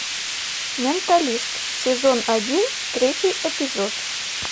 менталист сезон один третий эпизод